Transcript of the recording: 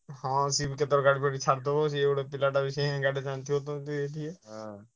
ହଁ ସିଏ ଭି କେତଳ ଗାଡ଼ି ଫାଡ଼ି ଛାଡ଼ିଦେବ ସିଏ ଗୋଟେ ପିଲାଟା ।